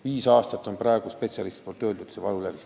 Viis aastat on praegu spetsialistide sõnul see valulävi.